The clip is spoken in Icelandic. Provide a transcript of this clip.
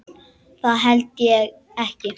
Eða það held ég ekki.